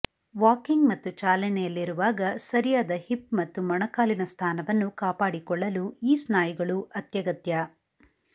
walking ಮತ್ತು ಚಾಲನೆಯಲ್ಲಿರುವಾಗ ಸರಿಯಾದ ಹಿಪ್ ಮತ್ತು ಮೊಣಕಾಲಿನ ಸ್ಥಾನವನ್ನು ಕಾಪಾಡಿಕೊಳ್ಳಲು ಈ ಸ್ನಾಯುಗಳು ಅತ್ಯಗತ್ಯ